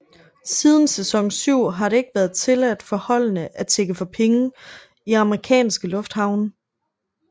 Siden sæson syv har det ikke været tilladt for holdene at tigge for penge i amerikanske lufthavne